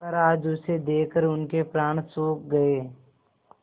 पर आज उसे देखकर उनके प्राण सूख गये